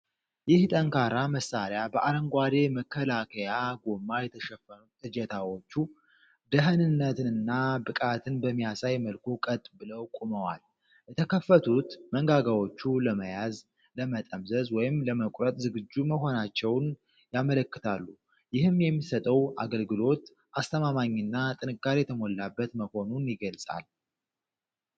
ይህ ጠንካራ መሣሪያ በአረንጓዴ መከላከያ ጎማ የተሸፈኑት እጀታዎቹ፣ ደህንነትንና ብቃትን በሚያሳይ መልኩ ቀጥ ብለው ቆመዋል። የተከፈቱት መንጋጋዎቹ ለመያዝ፣ ለመጠምዘዝ ወይም ለመቁረጥ ዝግጁ መሆናቸውን ያመለክታሉ፤ ይህም የሚሰጠው አገልግሎት አስተማማኝና ጥንካሬ የተሞላበት መሆኑን ይገልጻል።